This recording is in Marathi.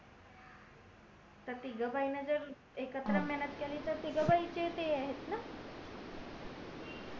तिघ भैन एकत्र मेहनत केले तर तिघ भाई चे ते आहेत ना